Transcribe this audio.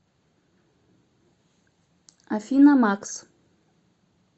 афина макс